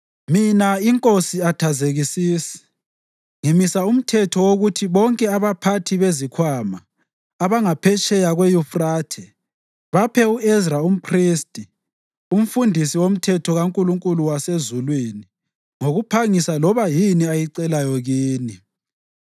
Mina, iNkosi Athazekisisi ngimisa umthetho wokuthi bonke abaphathi bezikhwama abangaphetsheya kweYufrathe baphe u-Ezra umphristi, umfundisi woMthetho kaNkulunkulu wasezulwini ngokuphangisa loba yini ayicelayo kini,